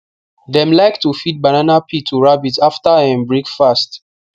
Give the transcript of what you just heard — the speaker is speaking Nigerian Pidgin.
dem like to feed banana peel to rabbit after um breakfast